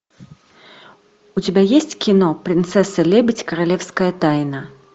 у тебя есть кино принцесса лебедь королевская тайна